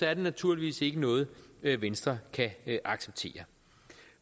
er det naturligvis ikke noget venstre kan acceptere